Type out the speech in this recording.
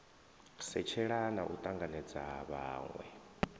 setshelela na u tanganedza vhanwe